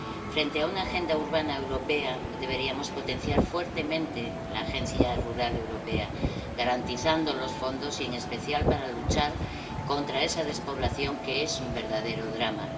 Frente a una agenda urbana europea, deberíamos potenciar fuertemente la agenda rural europea, garantizando los fondos y, en especial, luchar contra esa despoblación que es un verdadero drama.